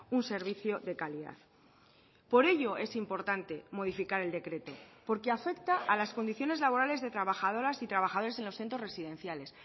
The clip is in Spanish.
un servicio de calidad por ello es importante modificar el decreto porque afecta a las condiciones laborales de trabajadoras y trabajadores en los centros residenciales